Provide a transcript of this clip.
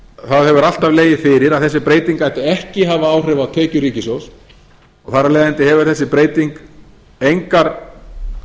hefur alltaf legið fyrir að þessi breyting ætti ekki að hafa áhrif á tekjur ríkissjóðs og þar af leiðandi hefur þessi breyting engar